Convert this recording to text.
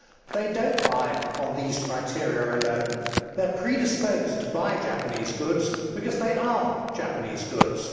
They do not buy on these criteria alone. They are predisposed to buying Japanese goods because they Japanese goods.